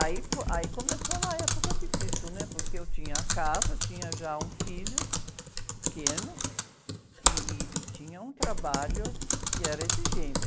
Aí fo, aí começou uma época difícil, né? Porque eu tinha a casa, eu tinha já um filho pequeno ih, ih, e tinha um trabalho que era exigente.